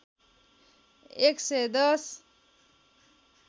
१ सय १०